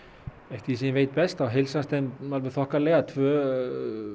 eftir því sem ég veit best þá heilsast þeim alveg þokkalega tvö